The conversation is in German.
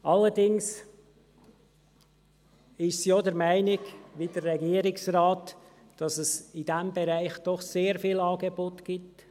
Allerdings ist sie auch der Meinung – wie der Regierungsrat –, dass es in diesem Bereich doch sehr viele Angebote gibt.